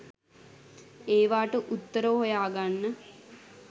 ඒවට උත්තර හොයාගන්න